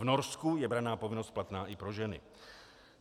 V Norsku je branná povinnost platná i pro ženy.